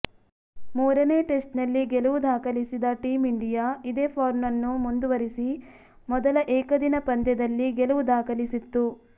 ಮೂರನೇ ಟೆಸ್ಟ್ನಲ್ಲಿ ಗೆಲುವು ದಾಖಲಿಸಿದ ಟೀಮ್ ಇಂಡಿಯಾ ಇದೇ ಫಾರ್ಮ್ನ್ನು ಮುಂದುವರಿಸಿ ಮೊದಲ ಏಕದಿನ ಪಂದ್ಯದಲ್ಲಿ ಗೆಲುವು ದಾಖಲಿಸಿತ್ತು